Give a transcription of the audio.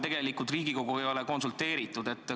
Tegelikult Riigikoguga ju ei ole konsulteeritud.